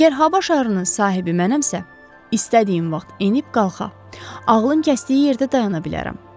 Əgər hava şarının sahibi mənəmsə, istədiyim vaxt enib-qalxa, ağlım kəsdiyi yerdə dayana bilərəm.